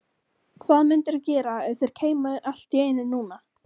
Hvað mundirðu gera ef þeir kæmu allt í einu núna?